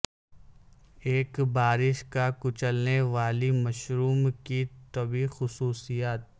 ایک بارش کا کچلنے والی مشروم کی طبی خصوصیات